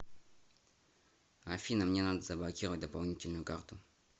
афина мне надо заблокировать дополнительную карту